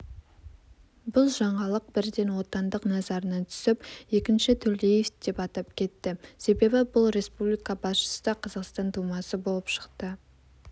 бұл жаңалық бірден отандық назарына түсіп екінші төлеев деп атап кетті себебі бұл республика басшысы да қазақстан тумасы болып шықты